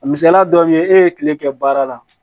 A misaliya dɔ be ye e ye kile kɛ baara la